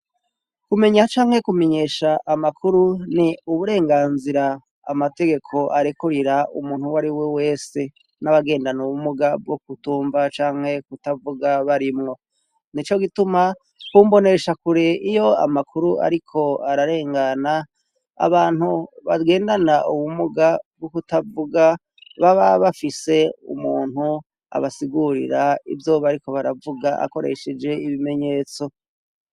Kumenya canke kumenyesha amakuru ni uburenganzira amategeko arekurira umuntu wari we wese n'abagendana ubumuga bwo kutumva canke kutavuga barimwo. Ni co gituma ku mboneshakure iyo amakuru ariko ararengana abantu bagendana ubumuga bwo kutavuga baba bafise umuntu abasigurira ivyo bariko baravuga akoresheje ibimenyetso.